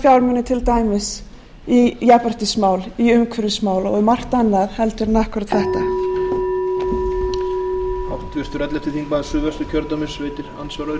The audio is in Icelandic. sjá þessa fjármuni til dæmis í jafnréttismál í umhverfismál og í margt annað heldur en akkúat þetta